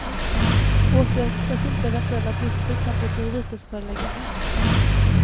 Åtgärdas inte eventuella brister kan det bli vitesförelägganden.